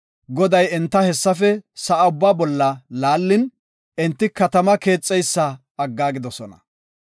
Goday enta hessafe sa7a ubbaa bolla laallin, enti katama keexeysa aggaagidosona.